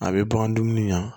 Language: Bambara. A bɛ bagan dumuni na